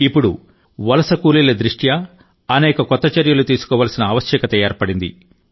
ఇప్పుడు వలస కూలీల దృష్ట్యా అనేక కొత్త చర్యలు తీసుకోవలసిన ఆవశ్యకత ఏర్పడింది